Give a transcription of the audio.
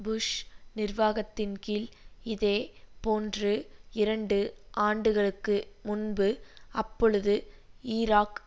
push நிர்வாகத்தின்கீழ் இதேபோன்று இரண்டு ஆண்டுகளுக்கு முன்பு அப்பொழுது ஈராக்